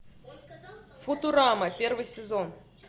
футурама первый сезон